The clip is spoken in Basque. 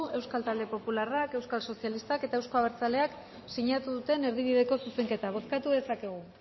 euskal talde popularra euskal sozialistak eta euzko abertzaleak sinatu duten erdibideko zuzenketa bozkatu dezakegu